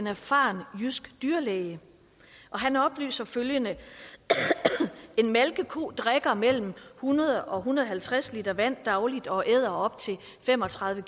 erfaren jysk dyrlæge og han oplyser følgende en malkeko drikker mellem hundrede og en hundrede og halvtreds l vand dagligt og æder op til fem og tredive